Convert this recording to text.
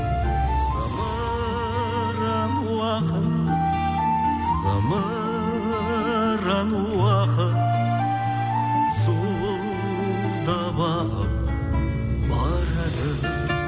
зымыран уақыт зымыран уақыт зуылдап ағып барады